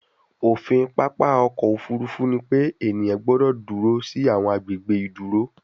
ofin papa ọkọ ofurufu ni pe eniyan gbọdọ duro si awọn agbegbe iduro